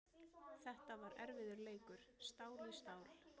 Þetta var erfiður leikur, stál í stál.